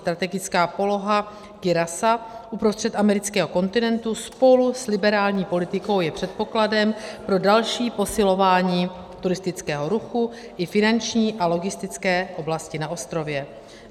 Strategická poloha Curaçaa uprostřed amerického kontinentu spolu s liberální politikou je předpokladem pro další posilování turistického ruchu i finanční a logistické oblasti na ostrově.